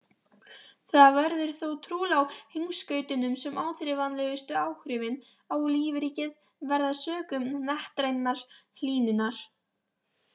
Það verður þó trúlega á heimskautunum sem áþreifanlegustu áhrifin á lífríkið verða sökum hnattrænnar hlýnunar.